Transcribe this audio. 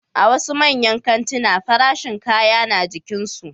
A wasu manyan kantina farashin kaya na jikinsu